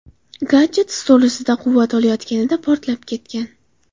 Gadjet stol ustida quvvat olayotganida portlab ketgan.